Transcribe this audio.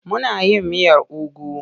Muna yin miyar ugu.